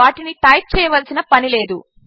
వాటినిటైప్చేయవలసినపనిలేదు